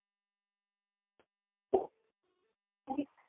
খুবই